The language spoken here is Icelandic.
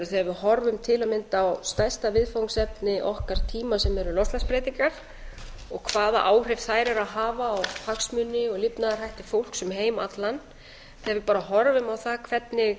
við horfum til að mynda á stærsta viðfangsefni okkar tíma sem eru loftslagsbreytingar og hvaða áhrif þær eru að hafa á hagsmuni og lifnaðarhætti fólks um heim allan þegar við bara horfum á það hvernig